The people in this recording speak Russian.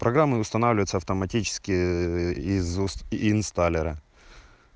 программа устанавливается автоматически из инсталера